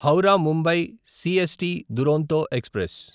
Howrah Mumbai CST Duronto express